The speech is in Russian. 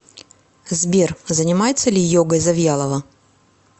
сбер занимается ли йогой завьялова